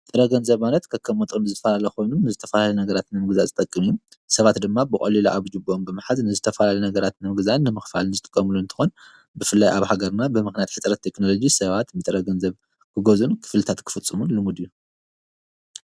ጥረገንዘብ ማለት ከከም መጦን ዝፈልለኾኑን ዝተፋላለዮ ነገራትንምግዛ ዝጠቅም እዩም ሰባት ድማ ብቖሊላ ኣብጅብም ብምሓዝ ንዝተፋላሊ ነገራት ንምግዛን ንምኽፋልን ዝጥቆምሉ እንተኾን ብፍለይ ኣብ ሃገርና ብምኽናያት ኅጽረት ተክኖሎጂ ሰባት ምጥረገንዘብ ክገዝኡን ክፍልታት ክፍጽሙን ልሙድ አዩ።